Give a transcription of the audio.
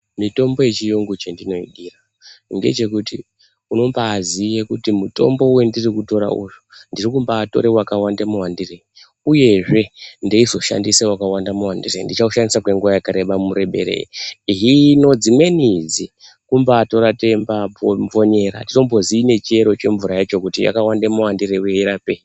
Mitombo yechirungu chendinoidira ngechekuti unombaziye kuti mutombo wandiri kutora uyu ndiri kumbatora wakaita mawandirei uyezve ndeizoshandisa wakaita muwandirei ndichaushandisa kwenguwa yakareba mureberei hino dzimweni idzi kumbatora teimvonyera atitombozi chiro chemvura yacho kuti yakaite muwandirei uye yeirapei